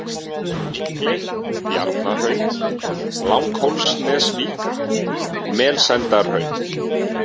Mikley, Bjarnahraun, Langhólanesvík, Melsendahraun